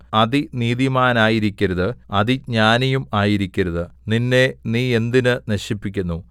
അതിനീതിമാനായിരിക്കരുത് അതിജ്ഞാനിയും ആയിരിക്കരുത് നിന്നെ നീ എന്തിന് നശിപ്പിക്കുന്നു